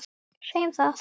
Segjum það.